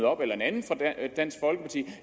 op eller en anden fra dansk folkeparti